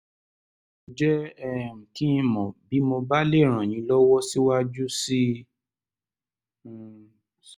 ẹ jẹ́ um kí n mọ̀ bí mo bá lè ràn yín lọ́wọ́ síwájú sí um i